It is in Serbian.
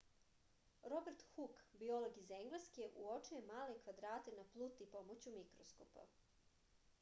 robert huk biolog iz engleske uočio je male kvadrate na pluti pomoću mikroskopa